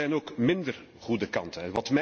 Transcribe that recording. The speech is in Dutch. Er zijn ook minder goede kanten.